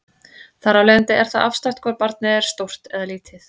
Þar af leiðandi er það afstætt hvort barnið er stórt eða lítið.